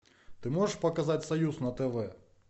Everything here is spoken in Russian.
ты можешь показать союз на тв